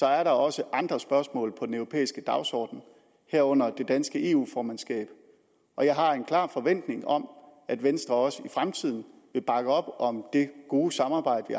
er der også andre spørgsmål på den europæiske dagsorden herunder det danske eu formandskab og jeg har en klar forventning om at venstre også i fremtiden vil bakke op om det gode samarbejde